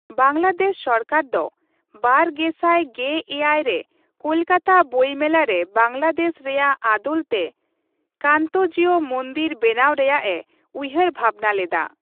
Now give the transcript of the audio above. ᱵᱟᱝᱞᱟᱫᱮᱥ ᱥᱚᱨᱠᱟᱨ ᱫᱚ ᱒᱐᱑᱗ ᱨᱮ ᱠᱳᱞᱠᱟᱛᱟ ᱵᱚᱭ ᱢᱮᱞᱟ ᱨᱮ ᱵᱟᱝᱞᱟᱫᱮᱥ ᱨᱮᱭᱟᱜ ᱟᱫᱚᱞ ᱛᱮ ᱠᱟᱱᱛᱚᱡᱤᱣ ᱢᱚᱱᱫᱤᱨ ᱵᱮᱱᱟᱣ ᱨᱮᱭᱟᱜᱼᱮ ᱩᱭᱦᱟᱹᱨᱼᱵᱷᱟᱵᱱᱟ ᱞᱮᱫᱟ ᱾